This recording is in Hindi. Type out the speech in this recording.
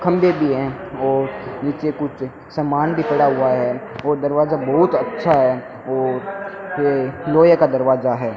खंभे भी है और नीचे कुछ समान भी पड़ा हुआ है और दरवाजा बहुत अच्छा है और ये लोहे का दरवाजा है।